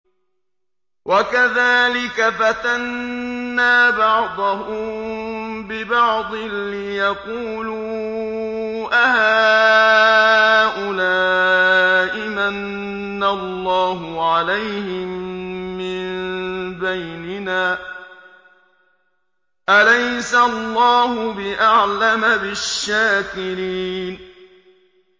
وَكَذَٰلِكَ فَتَنَّا بَعْضَهُم بِبَعْضٍ لِّيَقُولُوا أَهَٰؤُلَاءِ مَنَّ اللَّهُ عَلَيْهِم مِّن بَيْنِنَا ۗ أَلَيْسَ اللَّهُ بِأَعْلَمَ بِالشَّاكِرِينَ